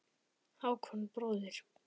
Hákon bróðir.